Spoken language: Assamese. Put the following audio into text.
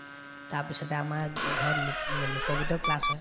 তাৰপিছতে আমাৰ ও ঘৰত লোক লোক গীতৰ class হয়